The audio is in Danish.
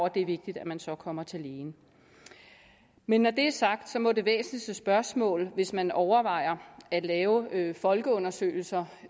at det er vigtigt at man så kommer til lægen men når det er sagt må det væsentligste spørgsmål hvis man overvejer at lave folkeundersøgelser